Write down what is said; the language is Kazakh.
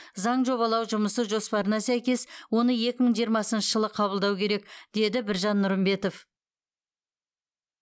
заң жобалау жұмысы жоспарына сәйкес оны екі мың жиырмасыншы жылы қабылдау керек деді біржан нұрымбетов